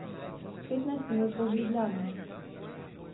Petnajst minut od Ljubljane.